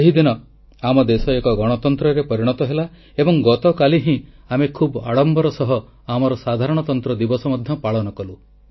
ସେହି ଦିନ ଆମ ଦେଶ ଏକ ଗଣତନ୍ତ୍ରରେ ପରିଣତ ହେଲା ଏବଂ ଗତକାଲି ହିଁ ଆମେ ଖୁବ୍ ଆଡ଼ମ୍ବର ସହ ଆମର ସାଧାରଣତନ୍ତ୍ର ଦିବସ ମଧ୍ୟ ପାଳନ କଲୁ